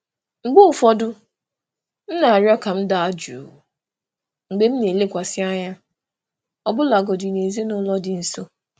Mgbe ụfọdụ, m na-arịọ ka m daa jụụ mgbe m na-elekwasị anya, ọbụlagodi na ezinaụlọ dị nso.